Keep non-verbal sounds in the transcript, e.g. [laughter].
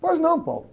Pois não. [unintelligible]